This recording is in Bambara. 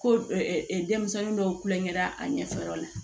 Ko denmisɛnnin dɔw kulonkɛra a ɲɛfɛ yɔrɔ la